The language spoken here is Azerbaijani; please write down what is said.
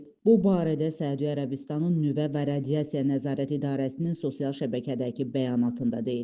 Bu barədə Səudiyyə Ərəbistanının Nüvə və Radiasiya Nəzarət İdarəsinin sosial şəbəkədəki bəyanatında deyilir.